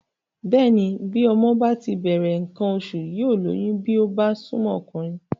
Bẹ́ẹ̀ni bí ọmọ bá ti bẹ̀rẹ̀ nǹkan oṣù yóò lóyún bí ó bá súnmọ́ ọkùnrin